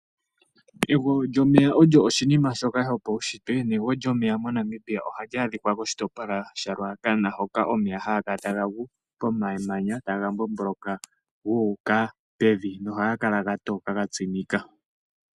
Egwo lyomeya osho oshinima shoka shopaushitwe negwo lyomeya MoNamibia ohali adhika koshitopolwa shaRuacana hoka omeya haga kala taga gu komamanya taga mbomboloka guuka pevi nohaga kala ga toka ga tsimika.